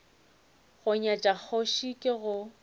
go nyatša kgoši ke go